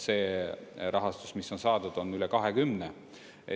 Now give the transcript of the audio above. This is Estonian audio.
See rahastus, mis on saadud, on üle 20.